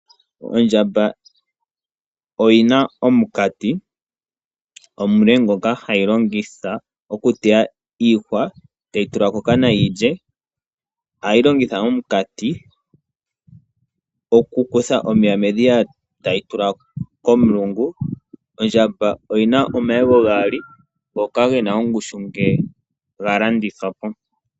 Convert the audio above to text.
Ondjamba oyi na omunkati omule ngoka hayi longitha oku teya iihwa tayi tula kokana yilye. Ohayi longitha omunkati oku kutha omeya medhiya tayi tula komulungu. Ondjamba oyi na omayego gaali ngoka ge na ongushu ngele ga landithwapo.